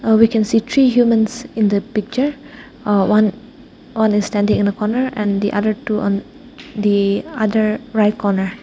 uh we can see three humans in the picture aa one on a standing in the corner and the other two on the other right corner.